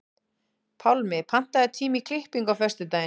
Pálmi, pantaðu tíma í klippingu á föstudaginn.